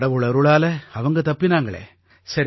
கடவுள் அருளால அவங்க தப்பினாங்களே